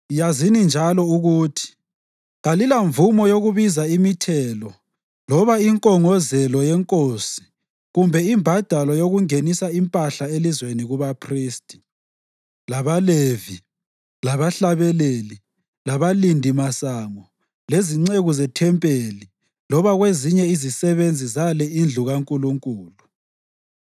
Yazini njalo ukuthi kalilamvumo yokubiza imithelo loba inkongozelo yenkosi kumbe imbadalo yokungenisa impahla elizweni kubaphristi, labaLevi, labahlabeleli, labalindimasango, lezinceku zethempelini loba kwezinye izisebenzi zale indlu kaNkulunkulu.